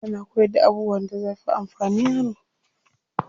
Ana koyarda abubuwan da zafi amfani yaro.